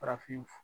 Farafin